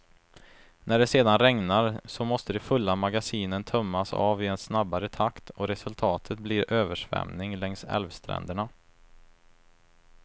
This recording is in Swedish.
När det sedan regnar, så måste de fulla magasinen tömmas av i en snabbare takt och resultatet blir översvämning längs älvstränderna.